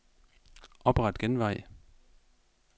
Opret genvej.